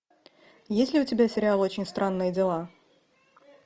есть ли у тебя сериал очень странные дела